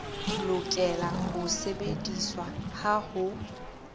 lokela ho sebediswa ha ho